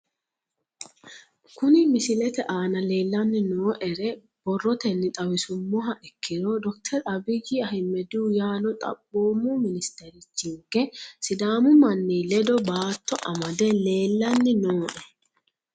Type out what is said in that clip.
Kuni misilete aana leelanni nooere borotenni xawisumoha ikkiro dr abiy ahimedihu yaano xaphphomu ministerchinke sidaamu manni ledo baato amade leelani nooe